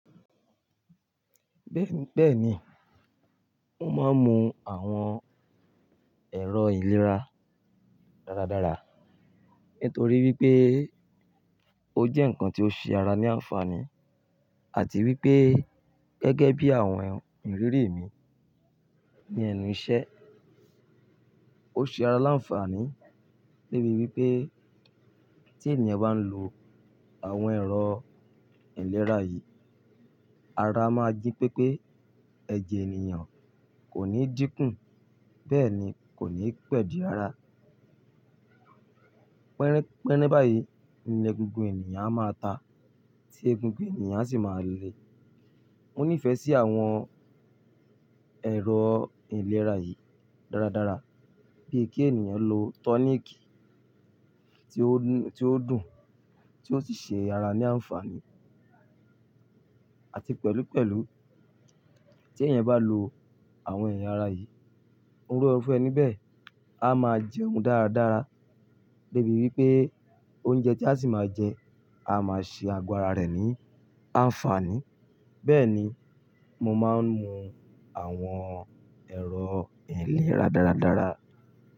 Bẹ́ẹ̀ni, mo máa ń mu àwọn ẹ̀rọ ìlera dáradára, nítorí wípé ó jẹ́ ǹkan tí ó ṣe ara ní àǹfààní àti wípé gẹ́gẹ́ bí àwọn ìrírí mi ní ẹnu ìṣẹ́, ó ṣe ara láǹfààní lébi wípé tí ènìyàn bá ń lo àwọn ẹ̀rọ ìlera yìí, ara máa jí pépé, ẹ̀jẹ̀ ènìyàn kò ní dínkù, bẹ́ẹ̀ ni kò ní pẹ̀dín rara. Pẹ́rẹ́ pẹ́rẹ́ báyìí ni egungun ènìyàn a máa ta, tí egungun ènìyàn sì máa le. Mo nífẹ̀ẹ́ sí àwọn ẹ̀rọ ìlera yìí dáradára, bíi kí ènìyàn lo tọ́nìkì tí ó dùn, tí ó sì ṣe ara ní àǹfààní àti pẹ̀lúpẹ̀lú tí ènìyàn bá lo àwọn ẹ̀yà ara yìí, oró ọ̀fẹ́ ni bẹ́ẹ̀ a máa jẹun dáradára débi wípé oúnjẹ tí a sì máa jẹ, a máa ṣe àgọ́ ara rẹ̀ ní àǹfààní. Bẹ́ẹ̀ ni, mo máa ń mu àwọn ẹ̀rọ ìlera dáradára.